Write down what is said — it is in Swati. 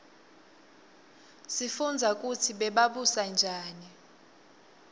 sifundza kutsi bebabusa njani